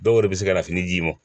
Dɔw de bɛ se ka na fini d'i ma